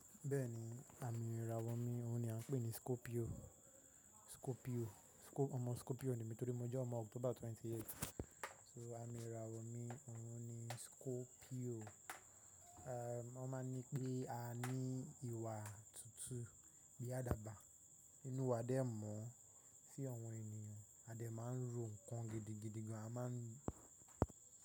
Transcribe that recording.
Bẹ́ẹ̀ni, àmì ìràwọ̀ mi òun ni a ń pè ní Scorpio. Scorpio, ọmọ Scorpio ni mí torí mo jẹ́ ọmọ October 28th. So àmì ìràwọ̀ mi òun ni Scorpio. Wọ́n máa ní pé a ní ìwà tutù bíi àdàbà, inú wa dẹ́mọ́ sí awọ̀n ènìyàn a dẹ máa ń rò ǹkan gidigidi gan, a máa ń.